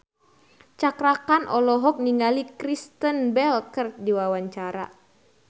Cakra Khan olohok ningali Kristen Bell keur diwawancara